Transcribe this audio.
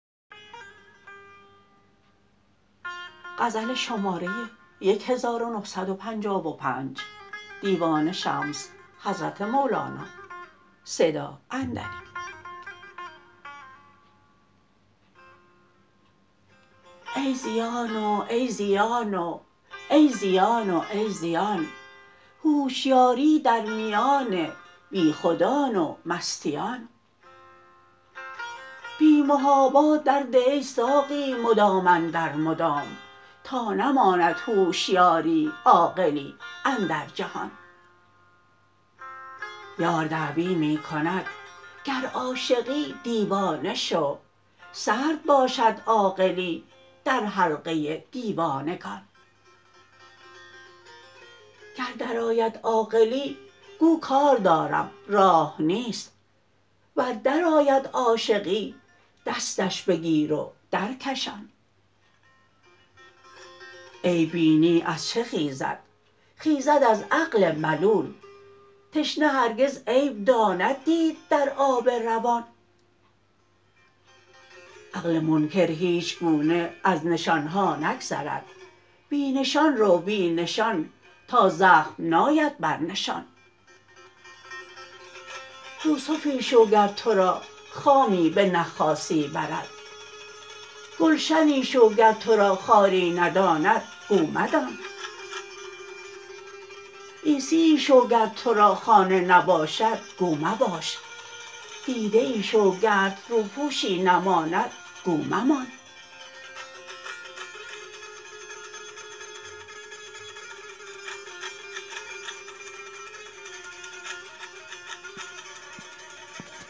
ای زیان و ای زیان و ای زیان و ای زیان هوشیاری در میان بیخودان و مستیان بی محابا درده ای ساقی مدام اندر مدام تا نماند هوشیاری عاقلی اندر جهان یار دعوی می کند گر عاشقی دیوانه شو سرد باشد عاقلی در حلقه دیوانگان گر درآید عاقلی گو کار دارم راه نیست ور درآید عاشقی دستش بگیر و درکشان عیب بینی از چه خیزد خیزد از عقل ملول تشنه هرگز عیب داند دید در آب روان عقل منکر هیچ گونه از نشان ها نگذرد بی نشان رو بی نشان تا زخم ناید بر نشان یوسفی شو گر تو را خامی بنخاسی برد گلشنی شو گر تو را خاری نداند گو مدان عیسیی شو گر تو را خانه نباشد گو مباش دیده ای شو گرت روپوشی نماند گو ممان